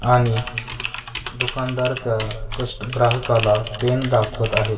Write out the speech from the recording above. आणि दुकानदार त्या कष्ट ग्राहकाला पेन दाखवत आहे.